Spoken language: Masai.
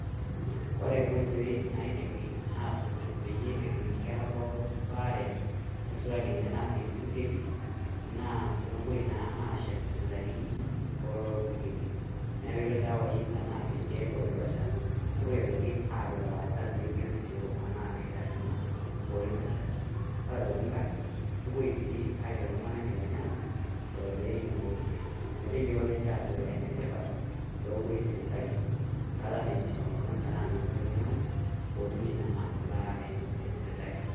Kore nkoitoi naidimi aatusuj peyie etum inkerra pookin ebaare neisulaki ninye natii lpurkeli naa tenepoi naaa aashet sipitalini too lelo purkeli nepiki irdawaii tenaa si irkiek oitosha nepoi aitoki aapik ilaasak le biotisho anaa lkitarini oitosha, kore aitoki inkae nepoi sii aicho ltung'anka nkiteng'ena lelo le nenia kwapi meteyiolo ninche aajo enetipat peepoi sipitali nkata naibisiong' ltung'ania anaa nkata namoi ltung'ani peetumi naa imbaare esipitali.